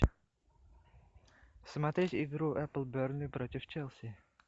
смотреть игру апл бернли против челси